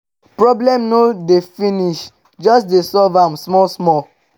um problem no dey finish jus dey solve am small small